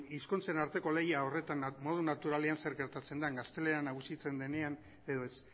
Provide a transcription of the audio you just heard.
hizkuntzen arteko lehia horretan modu naturalean zer gertatzen den gaztelera nagusitzen denean edo ez